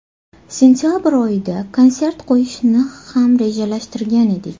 Sentabr oyida konsert qo‘yishni ham rejalashtirgan edik.